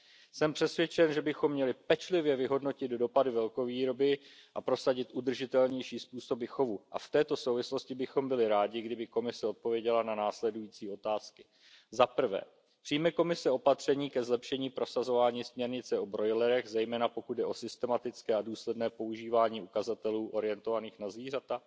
Jsem přesvědčen, že bychom měli pečlivě vyhodnotit dopady velkovýroby a prosadit udržitelnější způsoby chovu, a v této souvislosti bychom byli rádi, kdyby Komise odpověděla na následující otázky Přijme Komise opatření ke zlepšení prosazování směrnice o brojlerech, zejména pokud jde o systematické a důsledné používání ukazatelů orientovaných na zvířata?